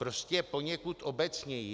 Prostě poněkud obecněji.